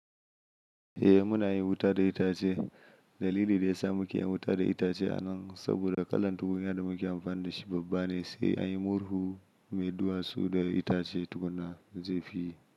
Eh muna yin wuta da itace. Dalili da ya sa muke yin wuta da itace anan saboda kalan tukunya da muke amfani da shi babba ne, sai a yi murhu mai duwatsu da itace tukuna zai fi yi.